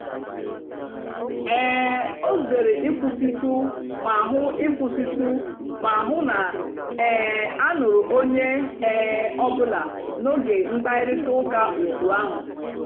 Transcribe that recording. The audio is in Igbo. um ọ zèrè ị̀kwụ́sị̀tụ́ mà hụ́ ị̀kwụ́sị̀tụ́ mà hụ́ na um a nụ̀rù ònyè um ọ́bụ́là n'ógè mkpáịrịtà ụ́ka otù ahụ́.